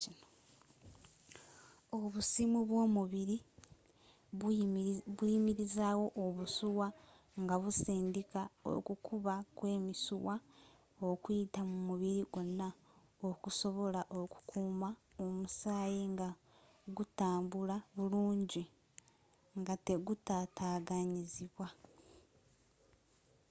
obusimu bwomubiri buyimirizaawo obusuwa ngabusindika okukuba kwemisuwa okuyita mu mubiri gwonna okusobola okukuuma omusaayi ngagutambula burungi ngategutataganyizidwa